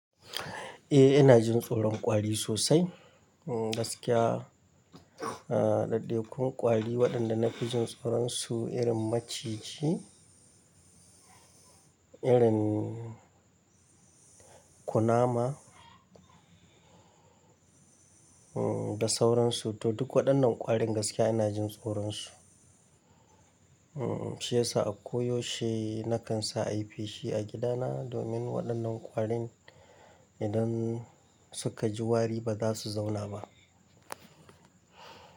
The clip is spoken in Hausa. Eh, ina jin tsoron kwari sosai. Gaskiya, aa, daɗaikan kwari waɗanda na fi jin tsoron su irin maciji, irin ƙunama, em, da sauransu. To duk waɗannan ƙwarin gaskiya ina jin tsoron su. Em, shi yasa a koyaushe na kan sa ai yi feshi a gidana, domin waɗannan ƙwarin idan suka ji wari ba za su zauna ba.